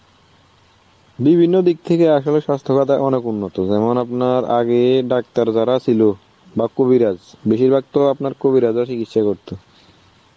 বিভিন্ন দিক থেকে আসলে স্বাস্থ্য খাত অনেক উন্নত. যেমন আপনার আগে ডাক্তার যারা ছিল বাহঃ কবিরাজ, বেশিরভাগ তো আপনার কবিরাজ রা চিকিৎসা করত.